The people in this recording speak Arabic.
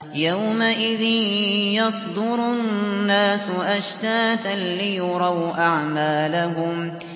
يَوْمَئِذٍ يَصْدُرُ النَّاسُ أَشْتَاتًا لِّيُرَوْا أَعْمَالَهُمْ